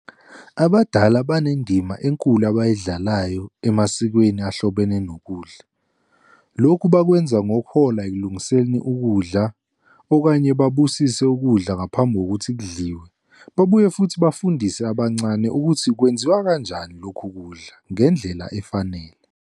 Abadala banendima enkulu abayidlalayo emasikweni ahlobene nokudla, lokhu bakwenza ngokuhola ekulungiseni ukudla, okanye babusise ukudla ngaphambi kokuthi kudliwe, babuye futhi bafundise abancane ukuthi kwenziwa kanjani lokhu kudla ngendlela efanele.